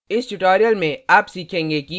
इस tutorial में आप सीखेंगे कि